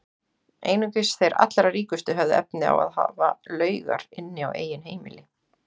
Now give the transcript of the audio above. Einungis þeir allra ríkustu höfðu efni á að hafa laugar inni á eigin heimili.